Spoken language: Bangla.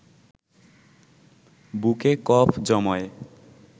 বুকে কফ জমায়